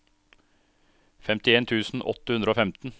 femtien tusen åtte hundre og femten